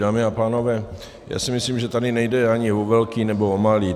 Dámy a pánové, já si myslím, že tady nejde ani o velké nebo o malé.